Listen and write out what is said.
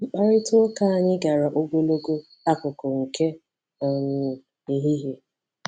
Mkparịta ụka anyị gara ogologo akụkụ nke um ehihie.